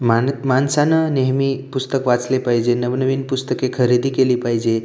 मा माणसानं नेहमी पुस्तक वाचले पाहिजे नवनवीन पुस्तके खरेदी केली पाहिजे.